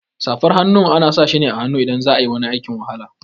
Safar hannu ana sashi ne a hannu idan za'ayi wani aikin wahala.